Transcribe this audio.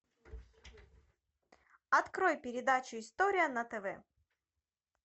открой передачу история на тв